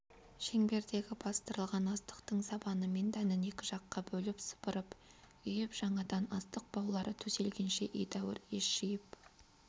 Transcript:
шеңбердегі бастырылған астықтың сабаны мен дәнін екі жаққа бөліп сыпырып үйіп жаңадан астық баулары төселгенше едәуір ес жиып